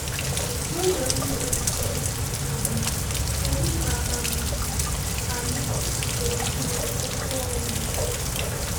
N’ụzọ ndị dị otú um a, um kedụ ka um anyị ga-esi gbochie mmụọ ụwa?